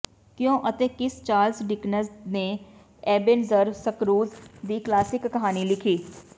ਕਿਉਂ ਅਤੇ ਕਿਸ ਚਾਰਲਸ ਡਿਕਨਜ਼ ਨੇ ਏਬੇਨੇਜ਼ਰ ਸਕਰੂਜ ਦੀ ਕਲਾਸਿਕ ਕਹਾਣੀ ਲਿਖੀ